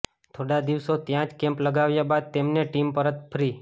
થોડા દિવસ ત્યાં જ કેમ્પ લગાવ્યા બાદ તેમની ટીમ પરત ફ્રી